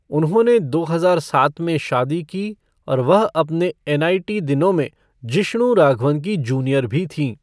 उन्होंने दो हजार सात में शादी की और वह अपने एनआईटी दिनों में जिष्णु राघवन की जूनियर भी थीं।